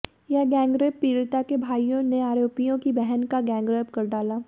यह गैंगरेप पीड़िता के भाइयों ने आरोपियों की बहन का गैंगरेप कर डाला